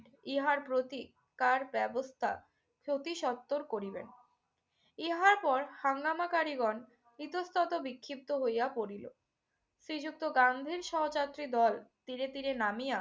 ইহার প্রতিকার ব্যবস্থা অতিসত্বর করিবেন। ইহার পর হাঙ্গামাকারীগণ ইতঃস্তত বিক্ষিপ্ত হইয়া পড়িল। শ্রীযুক্ত গান্ধীর সহযাত্রী দল তীরে তীরে নামিয়া